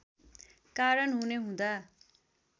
कारण हुने हुँदा